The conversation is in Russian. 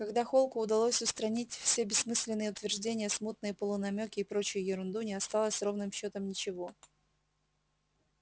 когда холку удалось устранить все бессмысленные утверждения смутные полунамёки и прочую ерунду не осталось ровным счётом ничего